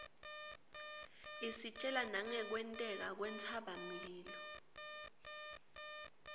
isitjela nangekwenteka kwentsaba mlilo